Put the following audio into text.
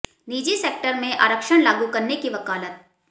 निजी सेक्टर में आरक्षण लागू करने की वकालत